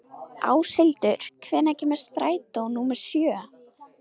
Áshildur, hvenær kemur strætó númer sjö?